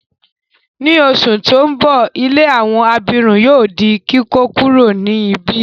Ni oṣù ti n bọ, ilé àwọn abirùn yóò di kíkókuro ni ibi.